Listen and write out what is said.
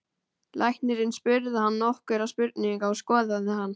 Læknirinn spurði hann nokkurra spurninga og skoðaði hann.